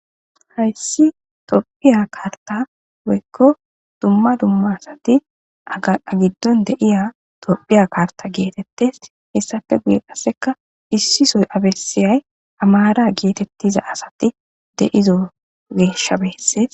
hayssi topphiya kaarta woykko dumma dumma asati aa giddon de'iya topphiya karta geetettes hissafe guye qasseka issisoy abessiyay amaara geetettiza asati deizo geeshshabeesses